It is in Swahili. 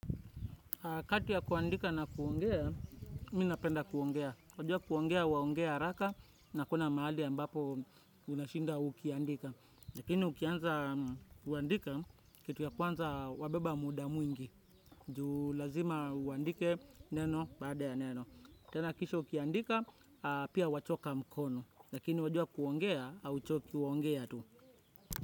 Kati ya kuandika na kuongea, mimi ninapenda kuongea. Wajua kuongea, unaongea haraka na hakuna mahali ambapo unashinda ukiandika. Lakini ukianza kuandika kitu ya kwanza wabeba muda mwingi. Juu lazima uandike neno baada ya neno. Tena kisha ukiandika, pia wachoka mkono. Lakini wajua kuongea hauchoki kuongea tu.